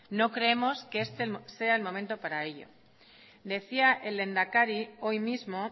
no creemos que este sea el momento para ello decía el lehendakari hoy mismo